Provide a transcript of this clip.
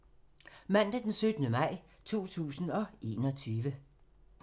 Mandag d. 17. maj 2021